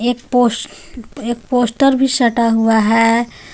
एक पोस एक पोस्टर भी सटा हुआ हे.